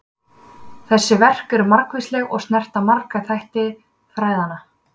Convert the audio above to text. Þessi verk eru margvísleg og snerta marga þætti fræðanna.